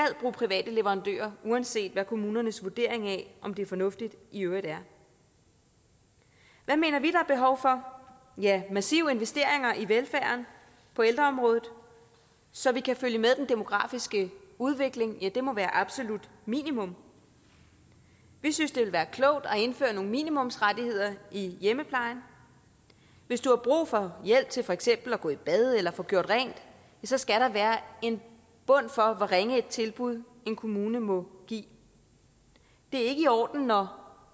private leverandører uanset hvad kommunernes vurdering af om det er fornuftigt i øvrigt er hvad mener vi at er behov for ja massive investeringer i velfærden på ældreområdet så vi kan følge med den demografiske udvikling det må være absolut minimum vi synes det ville være klogt at indføre nogle minimumsrettigheder i hjemmeplejen hvis du har brug for hjælp til for eksempel at gå i bad eller få gjort rent skal der være en bund for hvor ringe et tilbud en kommune må give det er ikke i orden når